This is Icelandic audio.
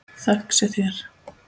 Þökk sé þér.